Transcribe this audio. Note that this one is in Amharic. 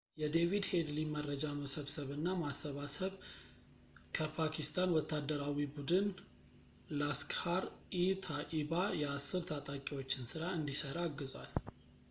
የዴቪድ ሄድሊ መረጃ መሰብሰብ እና ማሰባሰብ ከፓኪስታን ወታደራዊ ቡድን ላስክሃር-ኢ-ታኢባ የ10 ታጣቂዎችን ሥራ እንዲሠራ አግዟል